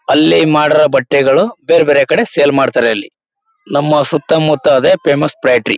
ಅಲ್ಲಿ ಮಾಡಿರೋ ಬಟ್ಟೆಗಳು ಬೇರ್ಬೇರೆ ಕಡೆ ಸೇಲ್ ಮಾಡ್ತಾರೆ ಅಲ್ಲಿ ನಮ್ಮ ಸುತ್ತ ಮುತ್ತ ಅದೇ ಫೇಮಸ್ ಫ್ಯಾಕ್ಟರಿ .